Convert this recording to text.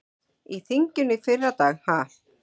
Í þinginu í fyrradag ha?